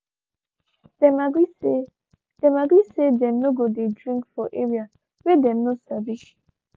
them agree say them agree say them no go dey drink for area whey them no sabi